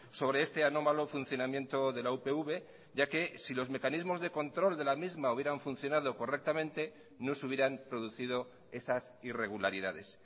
sobre este anómalo funcionamiento de la upv ya que si los mecanismos de control de la misma hubieran funcionado correctamente no se hubieran producido esas irregularidades